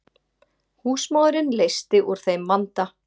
Húsmóðirin leysti úr þeim vanda.